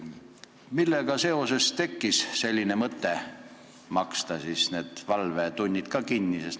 Millega seoses tekkis mõte maksta need valvetunnid kinni?